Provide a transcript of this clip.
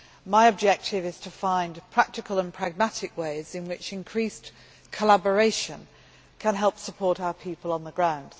My objective is to find practical and pragmatic ways in which increased collaboration can help support our people on the ground.